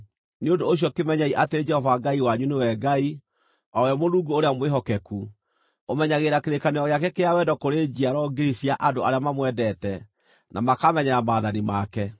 Nĩ ũndũ ũcio kĩmenyei atĩ Jehova Ngai wanyu nĩwe Ngai; o we Mũrungu ũrĩa mwĩhokeku, ũmenyagĩrĩra kĩrĩkanĩro gĩake kĩa wendo kũrĩ njiaro ngiri cia andũ arĩa mamwendete, na makamenyerera maathani make.